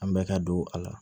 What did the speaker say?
An bɛ ka don a la